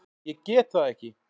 Ég get það ekki!